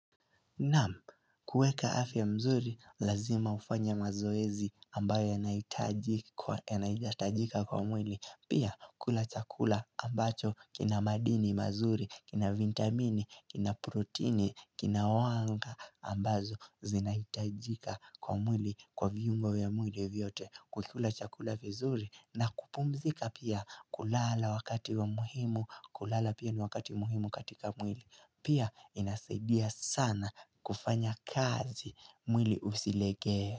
Naam, kuweka afya mzuri, lazima ufanye mazoezi ambayo yanahitajika kwa mwili. Pia, kula chakula ambacho kina madini mazuri, kina vitamini, kina protini, kina wanga, ambazo zinahitajika kwa mwili kwa viungo vya mwili vyote. Kuikula chakula vizuri na kupumzika pia, kulala wakati wa muhimu, kulala pia ni wakati muhimu katika mwili. Pia inasaidia sana kufanya kazi mwili usilegee.